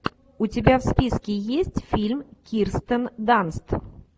у тебя в списке есть фильм кирстен данст